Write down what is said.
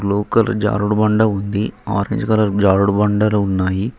Blue colour జారుడుబండ ఉంది orange colour జారుడుబండలు ఉన్నాయి.